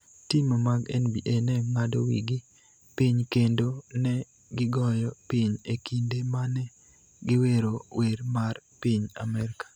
Tim mag NBA ne ng�ado wigi piny kendo ne gigoyo piny e kinde ma ne giwero wer mar piny Amerka